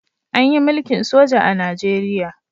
Anyi mulkin soja a nigeria